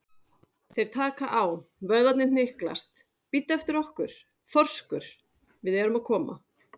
Þeir taka á, vöðvarnir hnyklast, bíddu eftir okkur, þorskur, við erum að koma.